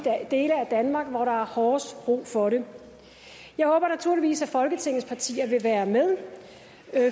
dele af danmark hvor der er hårdest brug for det jeg håber naturligvis at folketingets partier vil være med